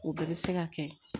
O bɛɛ bɛ se ka kɛ